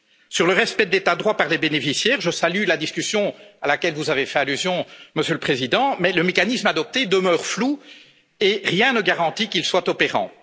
Sur le respect de l'état de droit par les bénéficiaires, je salue la discussion à laquelle vous avez fait allusion, Monsieur le Président, mais le mécanisme adopté demeure flou, et rien ne garantit qu'il sera opérant.